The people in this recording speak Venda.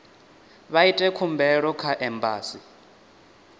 vha ite khumbelo kha embasi